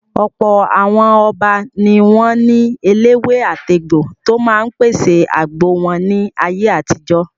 Ọ̀pọ̀ àwọn Ọba ni wọ́n ní eléwé-àtegbò tó máa ń pèsè àgbo wọn ní ayé àtijó.